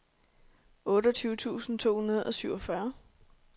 otteogtyve tusind to hundrede og syvogfyrre